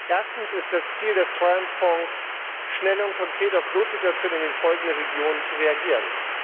Erstens ist es das Ziel des Treuhandfonds, schnell und konkret auf Notsituationen in den folgenden Regionen zu reagieren.